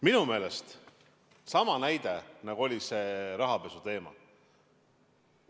Minu meelest see on sama näide, nagu oli rahapesuteema.